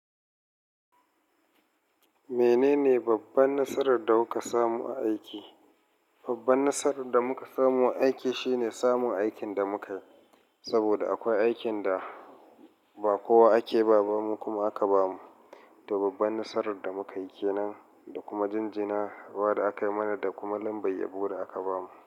Menene babban nasarar da kuka samu a aiki? Babban nasarar da muka samu a aiki shine samun aikin da muka yi, saboda akwai aikin da ba kowa ake ba, ba mu kuma aka ba mu. To, babban nasarar da muka yi kenan, da kuma jinjina ba da aka mana, da kuma lambar yabo da aka ba mu.